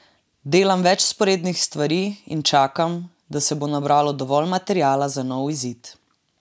Delam več vzporednih stvari in čakam, da se bo nabralo dovolj materiala za nov izid.